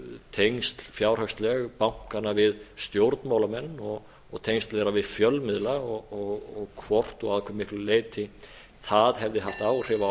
tengsl fjárhagsleg bankanna við stjórnmálamenn og tengsl þeirra við fjölmiðla og hvort og að hve miklu leyti það hefði haft haft áhrif á